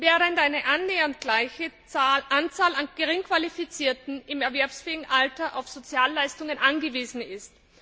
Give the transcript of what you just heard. während eine annähernd gleiche Anzahl an Geringqualifizierten im erwerbsfähigen Alter auf Sozialleistungen angewiesen ist.